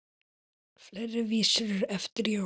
Fleiri vísur eru eftir Jón